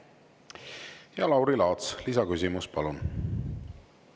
Lauri Laats, lisaküsimus, palun!